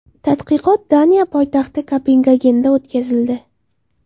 Tadqiqot Daniya poytaxti Kopengagenda o‘tkazildi.